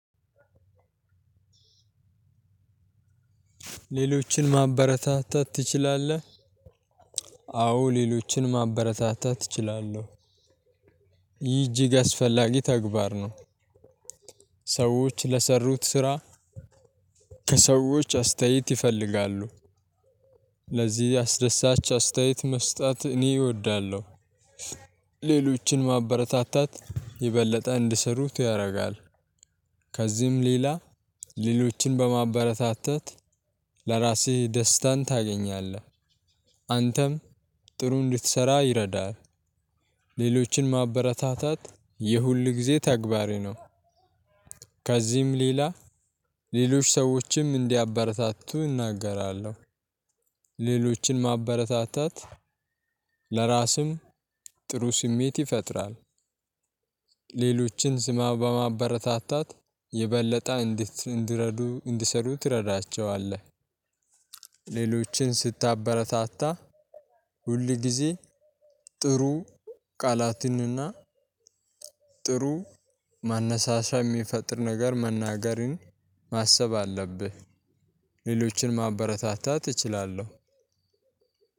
ሌሎችን ማበረታታት ትችላለህ? ሌሎችን ማበረታታት እችላለሁ ይህ እጅግ አስፈላጊ ተግባር ነው። ሰዎች ለሰሩት ስራ። ከሰዎች አስተያየት ይፈልጋሉ። ለዚህ አስደሳች አስተያየት መስጠት እኔ እወዳለሁ። ሌሎችን ማበረታታት የበለጠ እንድሰሩት ያደርጋል። ከዚህም ሌላ ሌሎችን በማበረታታት ለራስህ ደስታን ታገኛለህ። አንተም ጥሩ እንድትሰራ ይረዳል። ሌሎችን ማበረታታት የሁል ጊዜ ተግባሬ ነው። ከዚህም ሌላ ሌሎች ሰዎችም እንዲያበረታቱ እናገራለሁ። ሌሎችን ማበረታታት ለራስም ጥሩ ስሜት ይፈጥራል። ሌሎችን ስማ በማበረታታት የበለጠ እንድት እንድረዱ እንድሰሩ ትረዳቸዋለህ። ሌሎችን ስታበረታታ ሁል ጊዜ ጥሩ ቃላትንና ጥሩ ማነሳሻ የሚፈጥር ነገር መናገርን ማሰብ አለብህ። ሌሎችን ማበረታታት እችላለሁ።